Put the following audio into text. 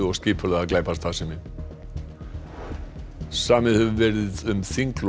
og skipulagða glæpastarfsemi samið hefur verið um þinglok